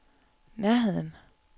nærheden